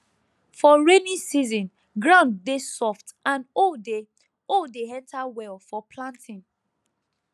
for rainy season ground dey soft and hoe dey hoe dey enter well for planting